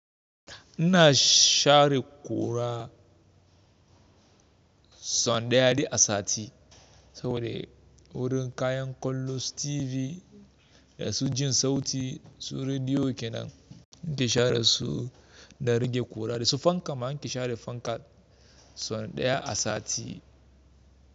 Ina share kura so daya duk asati, sode wurin kayan kollonsu TV da su jin sauti su rediyo kenan, nike share su da rage ƙura da su fanka ma ni ke share fanka ma son ɗaya a sati.